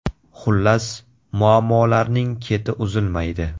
Xullas, muammolarning keti uzilmaydi.